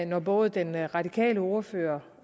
når både den radikale ordfører